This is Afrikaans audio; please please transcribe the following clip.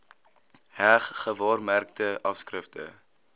heg gewaarmerkte afskrifte